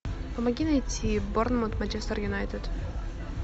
помоги найти борнмут манчестер юнайтед